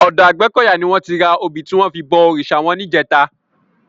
Òdò Agbekoya ni wòn ti rá óbi tiwòn fi bò órisá wòn làná